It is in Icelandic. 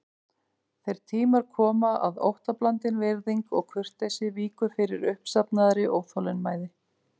Þeir tímar koma að óttablandin virðing og kurteisi víkur fyrir uppsafnaðri óþolinmæði.